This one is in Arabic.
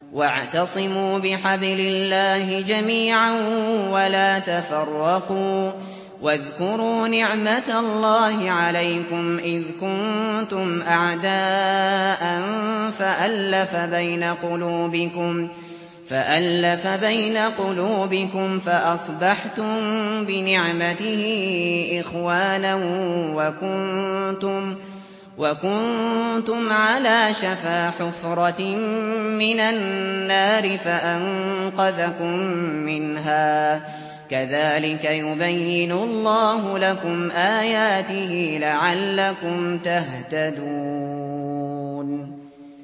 وَاعْتَصِمُوا بِحَبْلِ اللَّهِ جَمِيعًا وَلَا تَفَرَّقُوا ۚ وَاذْكُرُوا نِعْمَتَ اللَّهِ عَلَيْكُمْ إِذْ كُنتُمْ أَعْدَاءً فَأَلَّفَ بَيْنَ قُلُوبِكُمْ فَأَصْبَحْتُم بِنِعْمَتِهِ إِخْوَانًا وَكُنتُمْ عَلَىٰ شَفَا حُفْرَةٍ مِّنَ النَّارِ فَأَنقَذَكُم مِّنْهَا ۗ كَذَٰلِكَ يُبَيِّنُ اللَّهُ لَكُمْ آيَاتِهِ لَعَلَّكُمْ تَهْتَدُونَ